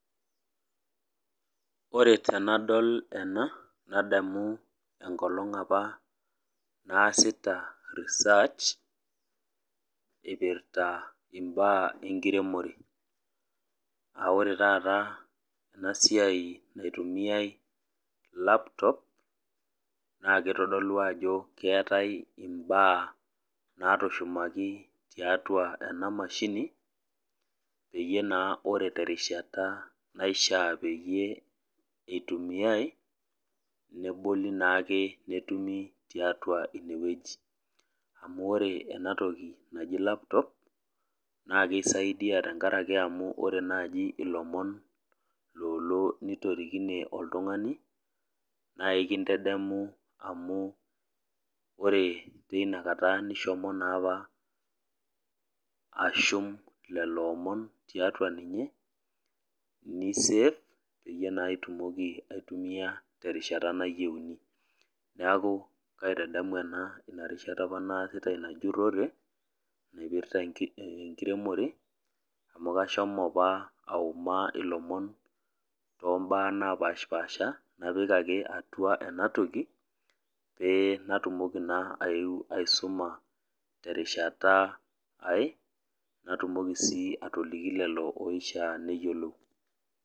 Ore tenadol ena nadamu enkolong apa naasita research ipirta imbaa enkiremore aa ore taata enasiai naitumia laptop naa kitodolu ajo keetae imbaa natushumaki tiatua enamashini peyie naa ore teishata naishiaa peyie itumiay neboli naake netumi tiatua inewueji .Ore enatoki naji laptop naa kisaidia amu ore naji ilomon lolo netorikine oltungani amu ore tinakata neshomo naapa ashum lelo omon tiatua ninye nisave peyie itumoki naa aitumia terishata nayieuni . Niaku kaitadamu ena inarishata apa naasita inajurore naipita enkiremore amu kashomo apa aoma ilomon tombaa napashapasha napik ake enatoki pee natumoki naa aeu aisuma terishata ae natumoki sii atoliki lelo oishiaa neyiolou.